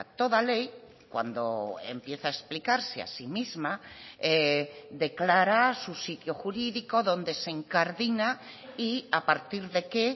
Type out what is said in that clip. toda ley cuando empieza a explicarse a sí misma declara su sitio jurídico dónde se incardina y a partir de qué